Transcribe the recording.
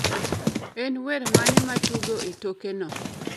En wer mane matugo e toke no